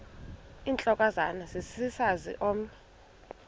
intlokohlaza sesisaz omny